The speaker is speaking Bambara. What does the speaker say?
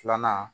Filanan